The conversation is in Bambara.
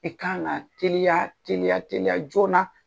I kan ŋ'a teliya teliya teliya joona